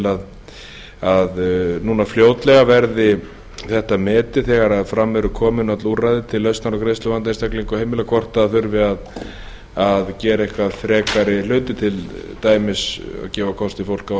til að núna fljótlega verði þetta metið þegar fram eru komin öll úrræði til lausnar á greiðsluvanda einstaklinga og heimila hvort þurfi að gera einhverja frekari hluti til dæmis gefa fólki kost á að skuldajafna